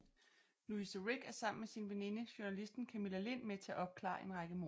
Louise Rick er sammen med sin veninde journalisten Camilla Lind med til at opklare en række mord